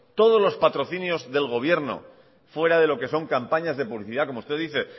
todo los patrocinios del gobierno fuera de lo que son campañas de publicidad como usted dice